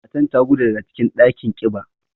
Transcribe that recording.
Matan ta gudu daga cikin ɗakin kiba.